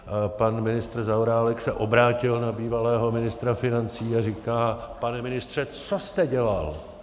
Pan ministr Zaorálek se obrátil na bývalého ministra financí a říká - pane ministře, co jste dělal?